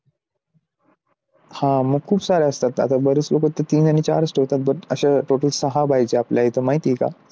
हा मग खूप सारे असतात आता बरेच लोक तीन आणि चारच ठेवतात अशा total सहा पाहिजेत आपले तर माहिती आहे का?